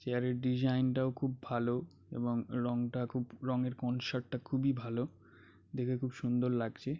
Chair -এর design -টাও খুব ভাল এবং রংটা খুব রঙের কনসেপ্ট -টা খুবই ভাল দেখে খুব সুন্দর লাগছে।